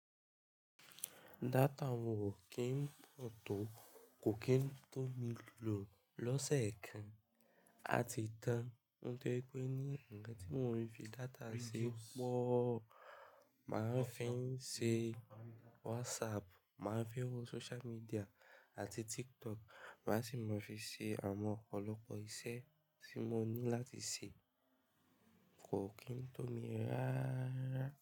Data oun ò kí n pọ̀ tó, kò kí n tó mi lò lọ́sẹ̀ kan, a ti tán. Ohun tó jẹ pé ní, ǹkan tí mo ń fi data ṣe pọ̀, màá ń fi ń ṣe WhatsApp, màá ń fi wo social media àti TikTok, màá sì máa fi ṣe àwọn ọ̀pọ̀lọpọ̀ iṣẹ́ tí mo ní láti ṣe, kò kí n tó mi rara rárá.